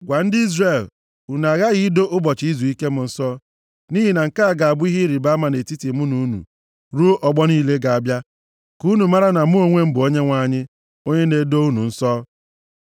Gwa ndị Izrel, “Unu aghaghị ido ụbọchị izuike m nsọ. Nʼihi na nke a ga-abụ ihe ịrịbama nʼetiti mụ na unu ruo ọgbọ niile ga-abịa, ka unu maara na mụ onwe m bụ Onyenwe anyị, onye na-edo unu nsọ.